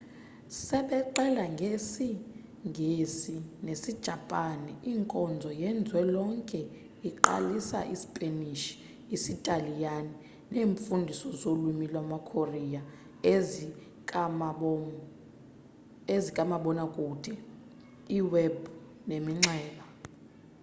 sebexela ngesi-ngesi nesi-japan inkonzo yezwe lonke iqalisa i-sipanish isitaliyani neemfundiso zolwimi lama-korea ezikamabona kude i-web neminxeba